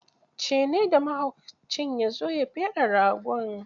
Ce ne da mahaucin ya zo ya feɗe ragon.